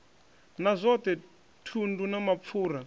na zwothe thundu na mapfura